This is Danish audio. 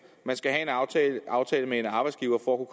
man skal have en aftale aftale med en arbejdsgiver for at